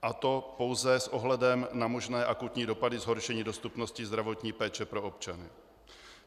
A to pouze s ohledem na možné akutní dopady zhoršení dostupnosti zdravotní péče pro občany.